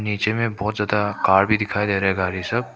नीचे में बहुत ज्यादा कार भी दिखाई दे रहा है गाड़ी सब।